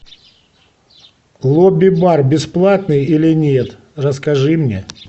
лобби бар бесплатный или нет расскажи мне